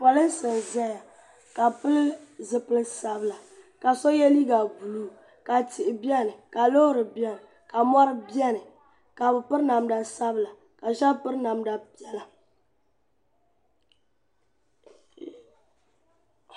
Polinsi n zaya ka bi pili zipili sabila ka so yɛ liiga buluu ka tihi bɛni ka loori bɛni ka mɔri bɛni ka bi piri namda sabila ka shɛba piri namda piɛla.